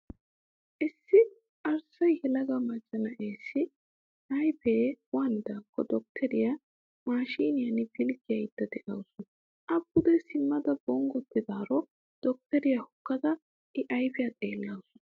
Issi arssa yelaga macca na'eessi ayipee waanidaakko dottoriyaa maashiiniyaan pilggayidda dawusu. A pude simmada bonggottidaaro dottoriyaa hokkada I ayipiyaa xeellawusu.